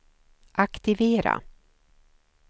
aktivera